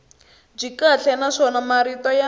byi kahle naswona marito ya